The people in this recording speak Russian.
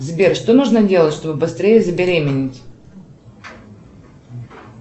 сбер что нужно сделать чтобы быстрее забеременеть